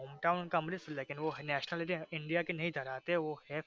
hometown उनका अमृतसर है लेकिन व nationality india के नहीं धरा ते व है